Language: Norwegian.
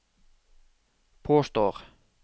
påstår